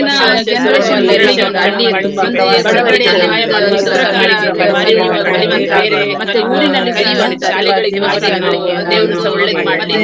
ಹಾಗಾಗಿ Throw Ball ಅಲ್ಲಿ ನಾನು participate ಮಾಡಿದ್ದೇನೆ. Kho Kho ಅದೂಸಾ ನಂಗೆ participate ಮಾಡ್ತೆನೆ. ಮತ್ತೆ ಬೇರೆ ಆ ಶಾಲೆಗಳಿಗೆ ಹೋಗಿಸಾ ನಾವು ನಾವು ಇದ್ ಮಾಡಿದ್ದೇವೆ.